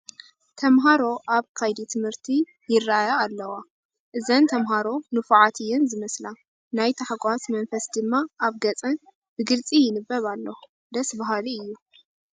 ተመሃሮ ኣብ ከይዲ ትምህርቲ ይርአያ ኣለዋ፡፡ እዘን ተመሃሮ ንፉዓት እየን ዝመስላ፡፡ ናይ ተሓጓስ መንፈስ ድማ ኣብ ገፀን ብግልፂ ይንበብ ኣሎ፡፡ ደስ በሃሊ እዩ፡፡